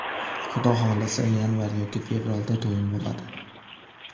Xudo xohlasa, yanvar yoki fevralda to‘yim bo‘ladi.